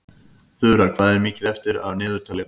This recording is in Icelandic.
Þura, hvað er mikið eftir af niðurteljaranum?